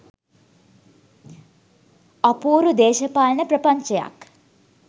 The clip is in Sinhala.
අපූරු දේශපාලන ප්‍රපංචයක්